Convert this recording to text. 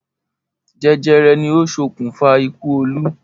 Jẹjẹrẹ ni ó ṣokùnfà ikú Olú?